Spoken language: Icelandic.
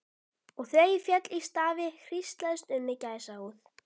Og þegar ég féll í stafi hríslaðist um mig gæsahúð.